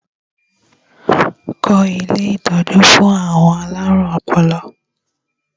Kọ́ ilé ìtọ́jú fún àwọn alárùn ọpọlọ!